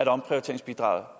at omprioriteringsbidraget